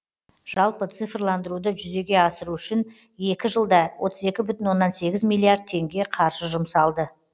жалпы цифрландыруды жүзеге асыру үшін екі жылда отыз екі бүтін оннан сегіз миллиард теңге қаржы жұмсалды